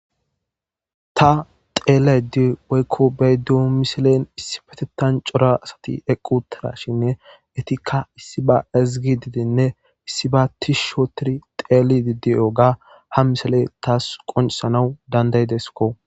ta xeelayde woykko beyddu miselen issi petetan cora asati eqqutara shinne etikka issi ba ezgi didinne issi ba tis shootiri xeeli didiyo ga ha misele taas qonisanawu dandaydesko